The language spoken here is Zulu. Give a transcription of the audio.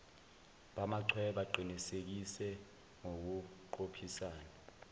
bamachweba qinisekise ngokuqophisana